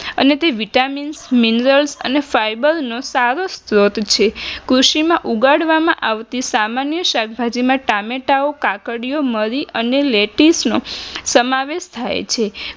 અને તે vitamin minerals અને fiber નો સારો સ્ત્રોત છે કૃષિમાં ઉગાડવામાં આવતી સામાન્ય શાકભાજીમાં ટામેટાઓ, કાકડીઓ મરી અને લેટીફ નો સમાવેશ થાય છે.